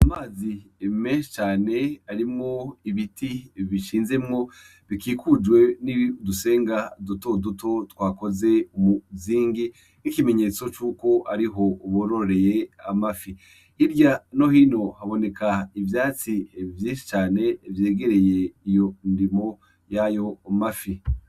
Amazi eme cane arimo ibiti bishinzemwo bikikujwe n'i udusenga duto duto twakoze umuzingi k'ikimenyetso c'uko ariho uburoreye amafi irya nohino haboneka ivyatsi vye cane vyegereye iyo ndimo ayo umafi.